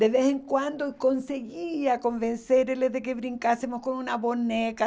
De vez em quando, conseguia convencê-lo de que brincássemos com uma boneca.